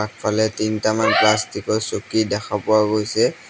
আগফালে তিনটামান প্লাষ্টিক ৰ চকী দেখা পোৱা গৈছে।